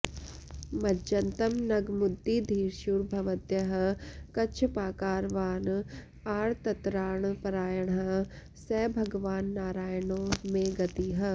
मज्जन्तं नगमुद्दिधीर्षुरभवद्यः कच्छपाकारवान् आर्तत्राणपरायणः स भगवान्नारायणो मे गतिः